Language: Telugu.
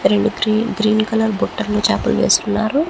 రెండు గ్రీ గ్రీన్ కలర్ బుట్టల్లో చేపలు వేసుకున్నారు.